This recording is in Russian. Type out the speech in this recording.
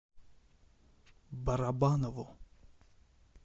барабанову